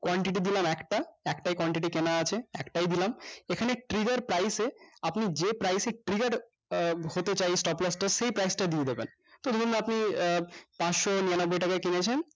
quantity দিলাম একটা একটাই quantity কেনা আছে একটাই দিলাম এখানে trigger price এ আপনি যে price এ triggered আহ হতে চাই stop loss টা সেই price টা দিয়ে দিবেন তো ধরুন আপনি আহ পাঁচশ নিরানব্বই টাকায় কিনেছেন